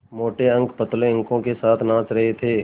मोटे अंक पतले अंकों के साथ नाच रहे थे